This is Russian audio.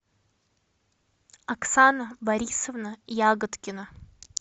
оксана борисовна ягодкина